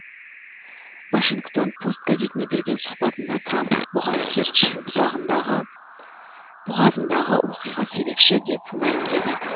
вашингтон пост газетіне берген сұхбатында трамп бұған керчь бұғазындағы оқиға себепші деп мәлімдеді